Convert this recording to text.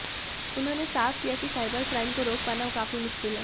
उन्होंने साफ किया कि साइबर क्राइम को रोक पाना काफी मुश्किल है